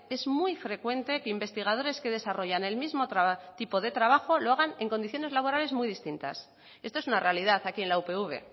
es muy frecuente que investigadores que desarrollan el mismo tipo de trabajo lo hagan en condiciones laborales muy distintas esto es una realidad aquí en la upv